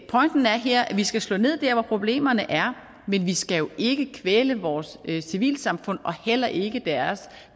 pointen er her at vi skal slå ned der hvor problemerne er men vi skal jo ikke kvæle vore civilsamfund og heller ikke deres